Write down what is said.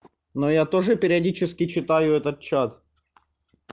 но я тоже периодически читаю этот чат